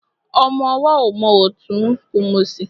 Ọmọ ọwọ́ ò mòtún kò mòsì.